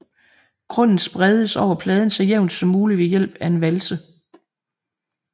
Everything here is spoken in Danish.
Grunden spredes over pladen så jævnt som muligt ved hjælp af en valse